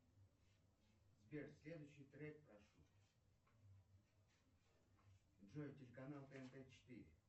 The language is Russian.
сбер следующий трек прошу джой телеканал тнт четыре